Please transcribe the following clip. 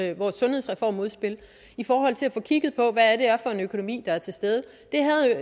i vores sundhedsreformudspil i forhold til at få kigget på hvad det er for en økonomi der er til stede